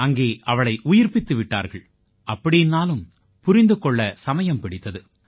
அங்கே அவளை உயிர்ப்பித்து விட்டார்கள் அப்படீன்னாலும் புரிந்து கொள்ள சமயம் பிடித்தது